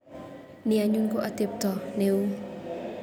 Ni anyun ko atepet neu.